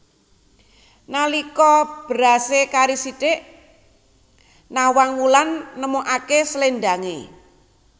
Nalika berasé kari sithik Nawang Wulan nemokaké sléndangé